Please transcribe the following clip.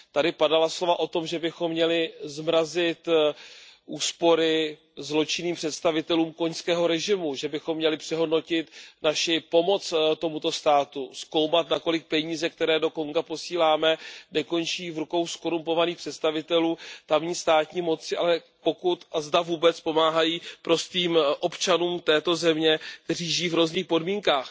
Tady padala slova o tom, že bychom měli zmrazit úspory zločinným představitelům konžského režimu, že bychom měli přehodnotit naši pomoc tomuto státu, zkoumat nakolik peníze, které do Konga posíláme, nekončí v rukou zkorumpovaných představitelů tamní státní moci, ale pokud a zda vůbec pomáhají prostým občanům této země, kteří žijí v hrozných podmínkách.